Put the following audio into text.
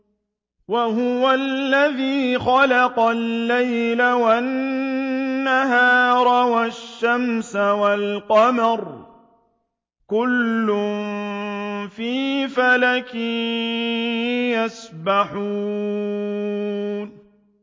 وَهُوَ الَّذِي خَلَقَ اللَّيْلَ وَالنَّهَارَ وَالشَّمْسَ وَالْقَمَرَ ۖ كُلٌّ فِي فَلَكٍ يَسْبَحُونَ